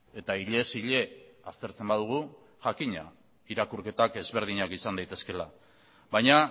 eta hilez hile aztertzen badugu jakina irakurketak ezberdinak izan daitezkeela baina